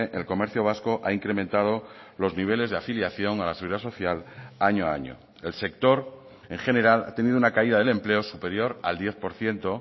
el comercio vasco ha incrementado los niveles de afiliación a la seguridad social año a año el sector en general ha tenido una caída del empleo superior al diez por ciento